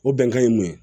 O bɛnkan ye mun ye